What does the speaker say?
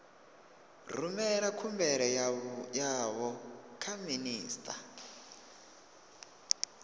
rumela khumbelo yavho kha minista